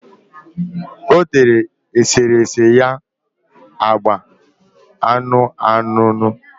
O tere eserese ya agba anụnụanụnụ.